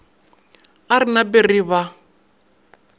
a re nape re ba